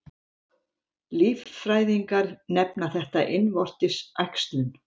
Líffræðingar nefna þetta innvortis æxlun.